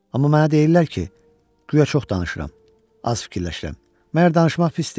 Amma mənə deyirlər ki, guya çox danışıram, az fikirləşirəm, məgər danışmaq pisdir?